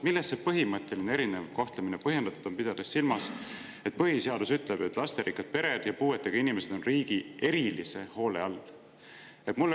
Millest see põhimõtteline erinev kohtlemine põhjendatud on, pidades silmas, et põhiseadus ütleb, et lasterikkad pered ja puuetega inimesed on riigi erilise hoole all?